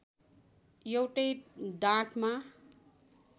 एउटै डाँठमा